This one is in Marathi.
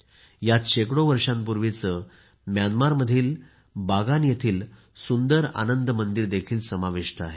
यात शेकडो वर्षांपूर्वीचे म्यानमारमधील बागान येथील सुंदर आनंद मंदिर देखील समाविष्ट आहे